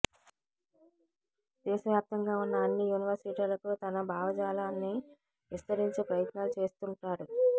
దేశవ్యాప్తంగా ఉన్న అన్ని యూనివర్సిటీలకు తన భావజాలాన్ని విస్తరించే ప్రయత్నాలు చేస్తుంటాడు